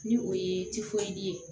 Ni o ye ye